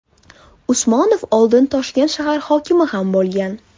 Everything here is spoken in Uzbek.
Usmonov oldin Toshkent shahar hokimi ham bo‘lgan .